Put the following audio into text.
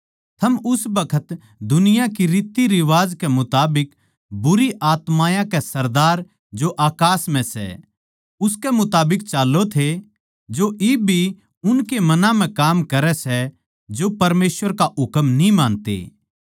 थम उस बखत दुनिया की रीतरिवाज के मुताबिक बुरी आत्मायाँ के सरदार जो अकास म्ह सै उसके मुताबिक चाल्लों थे जो इब भी उनके मनां म्ह काम करै सै जो परमेसवर का हुकम न्ही मानते